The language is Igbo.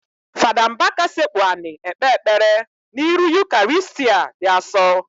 Fada Mbaka sekpu anị ekpe ekpere n'iru Ukarịstịa di asọ.